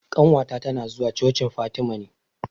Ƙawata ta na zuwa cocin Fatima ne